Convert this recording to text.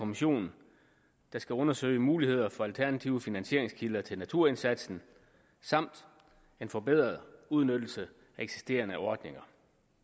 kommission der skal undersøge mulighederne for alternative finansieringskilder til naturindsatsen samt en forbedret udnyttelse af eksisterende ordninger